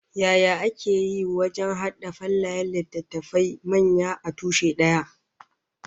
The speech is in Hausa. Yaya ake yi wajen hada fallayen littattafai manya a tushe daya?